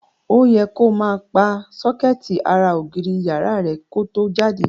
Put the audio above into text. Ó yẹ ko máa pa sókẹ́ẹ̀tì ara ògiri ìyàrá rẹ ko tó jáde.